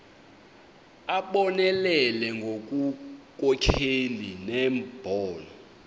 abonelele ngobunkokheli nembono